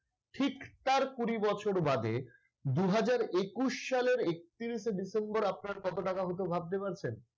ঠিক তার কুড়ি বছর বাদে দুই হাজার একুশ সালের একত্রিশে ডিসেম্বর আপনার কত টাকা হতো ভাবতে পারছেন?